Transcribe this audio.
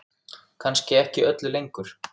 Kannski ekki öllu lengur?